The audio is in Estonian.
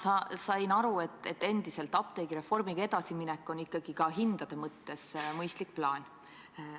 Ma sain aru, et apteegireformiga edasiminek on ikkagi ka hindade mõttes mõistlik plaan.